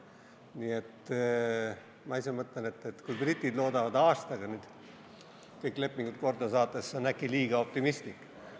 Nii et ma ise mõtlen, et kui britid loodavad aastaga kõik lepingud korda saada, siis see on äkki liiga optimistlik.